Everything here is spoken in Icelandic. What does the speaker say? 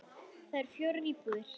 Þar eru fjórar íbúðir.